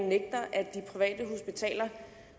at de private hospitaler